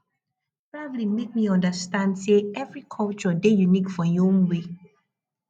traveling make me understand say every culture dey unique for im own way